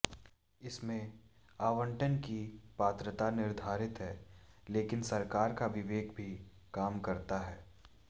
इसमें आवंटन की पात्रता निर्धारित है लेकिन सरकार का विवेक भी काम करता है